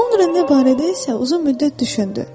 Sonra o bu barədə isə uzun müddət düşündü.